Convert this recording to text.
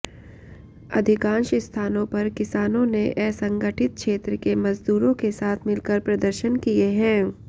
अधिकांश स्थानों पर किसानों ने असंगठित क्षेत्र के मजदूरों के साथ मिलकर प्रदर्शन किए है